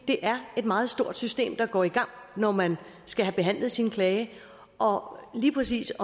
er et meget stort system der går i gang når man skal have behandlet sin klage og lige præcis